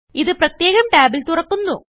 ഇത് പ്രത്യേകം ടാബിൽ തുറക്കുന്നു